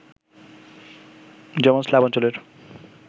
যেমন, স্লাভ অঞ্চলের